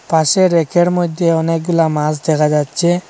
পাশে রেকের মইধ্যে অনেকগুলা মাছ দেখা যাচ্ছে।